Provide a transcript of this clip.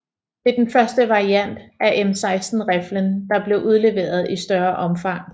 Det er den første variant af M16 riflen der blev udleveret i større omfang